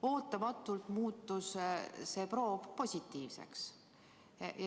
Ootamatult muutus see proov positiivseks.